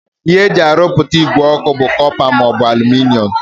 Ihe e ji arụpụta ìgwè ọkụ bụ kọpa maọbụ alụminịọm